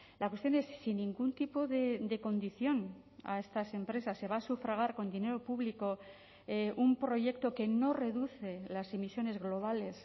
la cuestión es sin ningún tipo de condición a estas empresas se va a sufragar con dinero público un proyecto que no reduce las emisiones globales